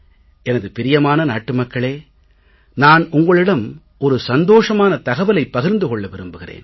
எனது பிரியமான நாட்டு மக்களே நான் உங்களிடம் ஒரு சந்தோஷமான தகவலைப் பகிர்ந்து கொள்ள விரும்புகிறேன்